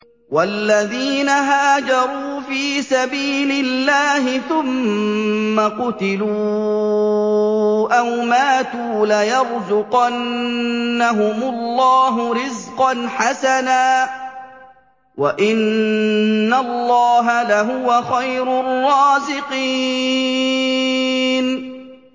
وَالَّذِينَ هَاجَرُوا فِي سَبِيلِ اللَّهِ ثُمَّ قُتِلُوا أَوْ مَاتُوا لَيَرْزُقَنَّهُمُ اللَّهُ رِزْقًا حَسَنًا ۚ وَإِنَّ اللَّهَ لَهُوَ خَيْرُ الرَّازِقِينَ